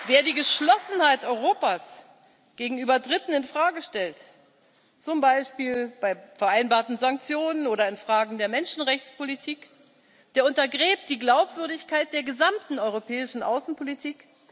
Wer die Geschlossenheit Europas gegenüber Dritten in Frage stellt, zum Beispiel bei vereinbarten Sanktionen oder in Fragen der Menschenrechtspolitik, der untergräbt die Glaubwürdigkeit der gesamten europäischen Außenpolitik.